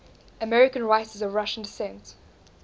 american writers of russian descent